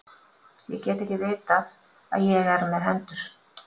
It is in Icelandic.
Ég get ekki vitað að ég er með hendur.